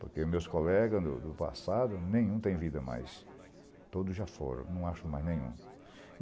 Porque meus colegas do do passado, nenhum tem vida mais, todos já foram, não acho mais nenhum.